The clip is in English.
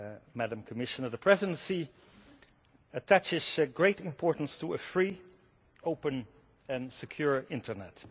Madam Commissioner, the Presidency attaches great importance to a free, open and secure internet.